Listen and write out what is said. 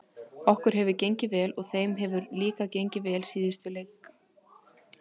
Okkur hefur gengið vel og þeim hefur líka gengið vel í síðustu leiknum.